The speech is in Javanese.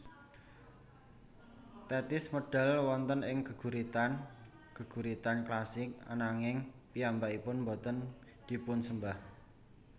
Tethis medal wonten ing geguritan geguritan klasik ananging piyambakipun boten dipunsembah